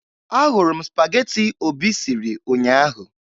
Ahụrụ m spagetị Obi siri ụnyaahụ